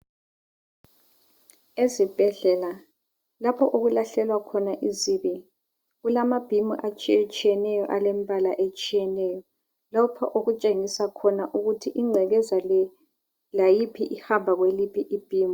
Ezibhedlela lapho okulahlelwa khona izibi kulamabhimu atshiyetshiyeneyo alembala etshiyeneyo. Lokhu okutshengisa khona ukuthi ingcekeza le layiphi ihamba kuliphi ibhimu.